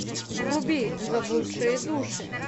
вруби заблудшие души